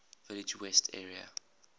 village west area